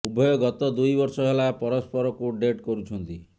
ଉଭୟ ଗତ ଦୁଇ ବର୍ଷ ହେଲା ପରସ୍ପରକୁ ଡେଟ୍ କରୁଛନ୍ତି